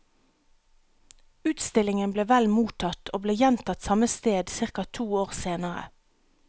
Utstillingen ble vel mottatt og ble gjentatt samme sted ca to år senere.